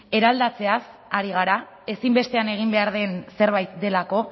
eraldatzeaz ari gara ezinbestean egin behar den zerbait delako